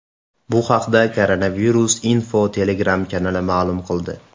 Bu haqda Koronavirus Info Telegram kanali ma’lum qildi .